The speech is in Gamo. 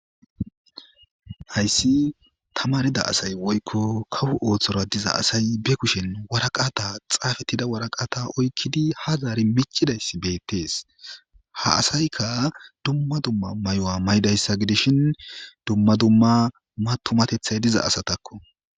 Hayssi tamarida asay woykko kawo ossora diza asay be kushshen waraqata xappetida waraqata oyikidi ha zaari miccidayssi betees.ha asaykka dumma dumma Mayo mayidayssa gidishin tumateththay diza asatakko.